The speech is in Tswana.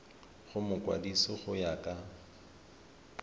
go mokwadise go ya ka